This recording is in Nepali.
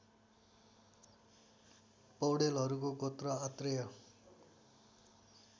पौडेलहरूको गोत्र आत्रेय